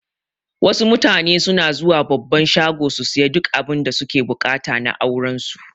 Wasu mutane suna zuwa babban shago su siya duk abinda suke buƙata na auran su